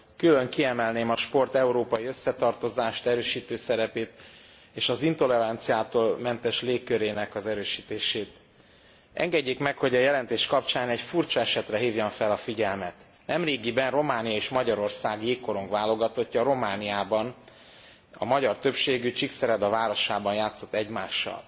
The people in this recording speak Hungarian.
Külön kiemelném a sport európai összetartozást erősítő szerepét és az intoleranciától mentes légkörének az erősítését. Engedjék meg, hogy a jelentés kapcsán egy furcsa esetre hívjam fel a figyelmet nemrégiben Románia és Magyarország jégkorong válogatottja Romániában a magyar többségű Csíkszereda városában játszott egymással.